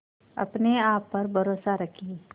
अपने आप पर भरोसा रखें